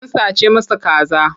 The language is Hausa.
An sace masa kaza.